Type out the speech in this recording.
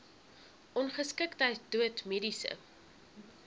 ongeskiktheid dood mediese